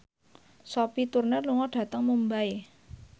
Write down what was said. Sophie Turner lunga dhateng Mumbai